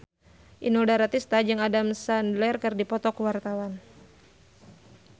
Inul Daratista jeung Adam Sandler keur dipoto ku wartawan